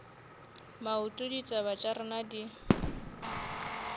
maoto ditaba tša rena di